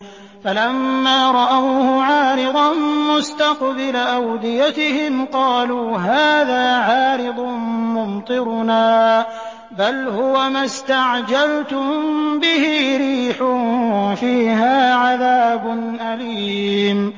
فَلَمَّا رَأَوْهُ عَارِضًا مُّسْتَقْبِلَ أَوْدِيَتِهِمْ قَالُوا هَٰذَا عَارِضٌ مُّمْطِرُنَا ۚ بَلْ هُوَ مَا اسْتَعْجَلْتُم بِهِ ۖ رِيحٌ فِيهَا عَذَابٌ أَلِيمٌ